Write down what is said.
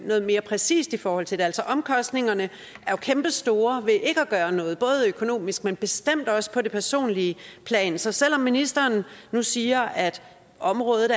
noget mere præcist i forhold til det omkostningerne er jo kæmpestore ved ikke at gøre noget både økonomisk men bestemt også på det personlige plan så selv om ministeren nu siger at området